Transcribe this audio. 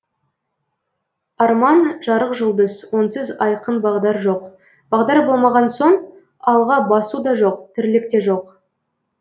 арман жарық жұлдыз онсыз айқын бағдар жоқ бағдар болмаған соң алға басу да жоқ тірлік те жоқ